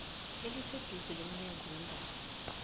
eliseduze lomnyango weendaba